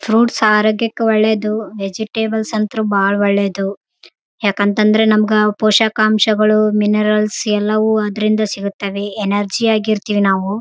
ಅಂಗಡಿಯೂ ಕಾಣಿಸಲು ಬರುತ್ತಿದೆ ಇಲ್ಲಿ ತುಂಬಾ ಆಟೋಗಳು ಮತ್ತು ಕಾರುಗಳು ನಿಂತಿವೆ ಇಲ್ಲಿ --